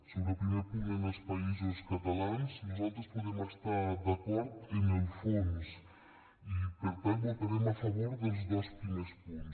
sobre el primer punt en els països catalans nosaltres podem estar d’acord en el fons i per tant votarem a favor dels dos primers punts